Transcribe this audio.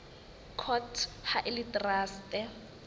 court ha e le traste